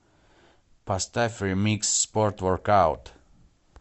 поставь ремикс спорт воркаут